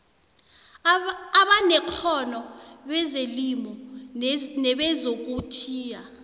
abanekghono bezelimo nebezokuthiya